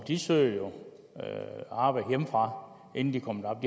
de søger jo arbejde hjemmefra inden de kommer